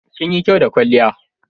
Kinyi kyau da kwalliya.